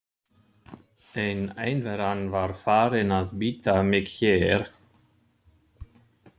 En einveran var farin að bíta mig hér.